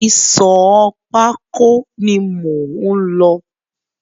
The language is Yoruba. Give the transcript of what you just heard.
Ìsọ̀ pákó ni mò ń lọ.